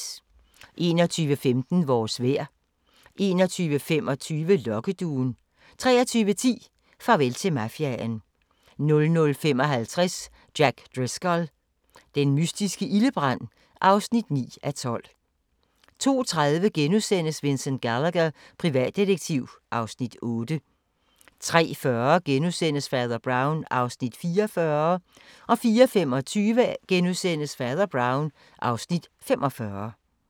21:15: Vores vejr 21:25: Lokkeduen 23:10: Farvel til mafiaen 00:55: Jack Driscoll – den mystiske ildebrand (9:12) 02:30: Vincent Gallagher, privatdetektiv (Afs. 8)* 03:40: Fader Brown (Afs. 44)* 04:25: Fader Brown (Afs. 45)*